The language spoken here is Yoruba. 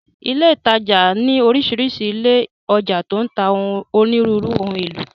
Ilé ìtajà ní orísìírísìí ilé ọjà tó ń ta onírúurú ohun èlò.